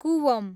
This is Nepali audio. कुवम